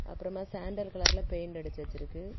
அப்பறமா சேண்டல் கலர்ல பெயிண்ட் அடிச்சு வச்சிருக்கு.